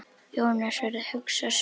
Jónas verður hugsi á svip.